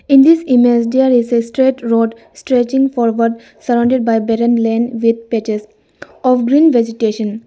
In this image there is a straight road stretching forward surrounded by barren lane with patches of green vegetation.